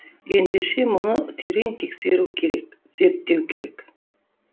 ендеше мұны терең тексеру керек зерттеу керек